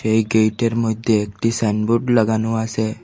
এই গেইটের মইধ্যে একটি সাইনবোর্ড লাগানো আসে।